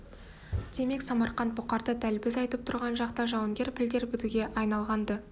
демек самарқант бұқарда дәл біз айтып тұрған шақта жауынгер пілдер бітуге айналған-ды